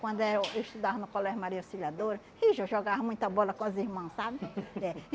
Quando eh eu estudava no Colégio Maria Auxiliadora, ixi, eu jogava muita bola com as irmã, sabe? É.